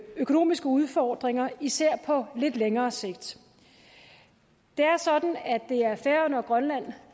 økonomiske udfordringer især på lidt længere sigt det er sådan at det er færøerne og grønland